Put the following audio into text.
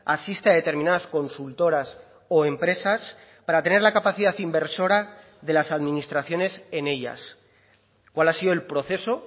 asiste a determinadas consultoras o empresas para tener la capacidad inversora de las administraciones en ellas cuál ha sido el proceso